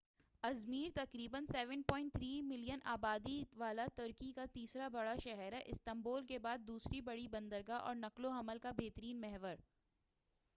Izmir تقریباً 3۔7 million کی آبادی والا ترکی کا تیسرا بڑا شہر ہے، استامبول کے بعد دوسری بڑی بندرگاہ، اور نقل و حمل کا بہترین محور۔